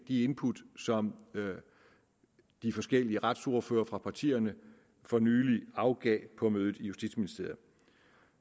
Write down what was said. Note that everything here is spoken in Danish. input som de forskellige retsordførere for partierne for nylig afgav på mødet i justitsministeriet